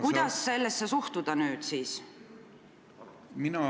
Kuidas sellesse nüüd siis suhtuda?